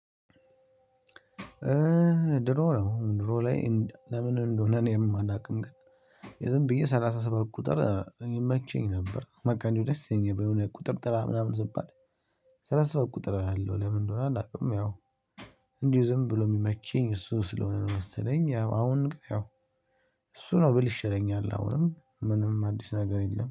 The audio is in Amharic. ድሮ ነው ድሮ ላይ ለምን እንደሆነ እኔም አላውቅም ግን ዝም ብዬ ሰላሳ ሰባት ቁጥር ይመቸኝ ነበር በቃ እንዲሁ ደስ ይለኝ ነበር ቁጥር ጥራ ምናምን ስባል። ሰላሳ ሰባት ቁጥር እላለው ለምን እንደሆነ አላውቅም። ያው እንዲሁ ዝም ብሎ የሚመቸኝ እሱ ስለሆነ ነው። መሰለኝ አሁንም ያው እሱ ነው ብል ይሸለኛል አሁንም ምንም አዲስ ነገር የለም